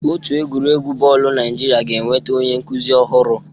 Otu egwuregwu bọọlụ Naịjirịa ga-enweta onye nkuzi ọhụrụ.